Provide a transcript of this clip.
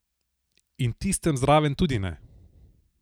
In tistem zraven tudi ne.